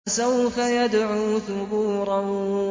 فَسَوْفَ يَدْعُو ثُبُورًا